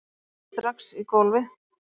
Við lögðumst strax í gólfið